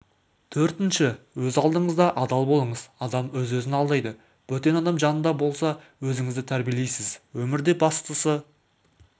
төртінші өз алдыңызда адал болыңыз адам өз-өзін алдайды бөтен адам жанында болса өзінізді тәрбиелейсіз өмірде бастысы